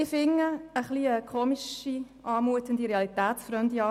Ich finde, diese Ansicht mutet etwas eigenartig und realitätsfremde an.